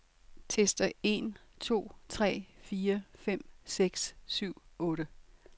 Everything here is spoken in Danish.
Tester en to tre fire fem seks syv otte.